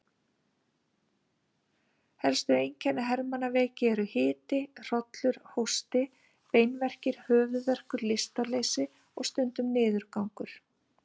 Helstu einkenni hermannaveiki eru hiti, hrollur, hósti, beinverkir, höfuðverkur, lystarleysi og stundum niðurgangur.